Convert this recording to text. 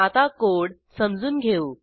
आता कोड समजून घेऊ